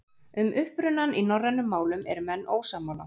Um upprunann í norrænum málum eru menn ósammála.